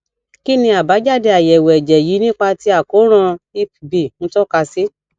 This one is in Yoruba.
kí ni àbájáde ayewo ẹjẹ yìí nípa ti àkoran hep b n toka si